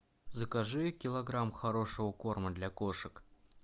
закажи килограмм хорошего корма для кошек